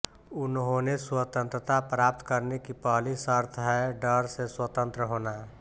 उन्होंने स्वतंत्रता प्राप्त करने की पहली शर्त है डर से स्वतंत्र होना